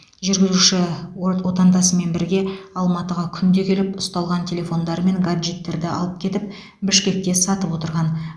жүргізуші орт отандасымен бірге алматыға күнде келіп ұсталған телефондар мен гаджеттерді алып кетіп бішкекте сатып отырған